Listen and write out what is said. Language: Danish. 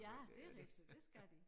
Ja det rigtigt det skal de